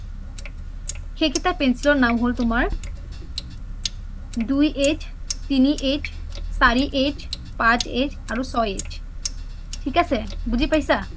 সেইকেইটা pencil ৰ নাম হ’ল তুমাৰ দুই th, তিনি th, চাৰি th, পাচ th আৰু চয় th থিক আছে বুজি পাইছা?